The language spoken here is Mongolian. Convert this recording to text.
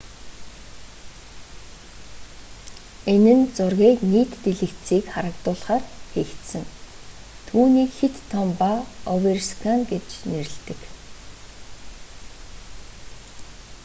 энэ нь зургийг нийт дэлгэцийг хамруулахаар хийгдсэн түүнийг хэт том ба оверскан гэж нэрэлдэг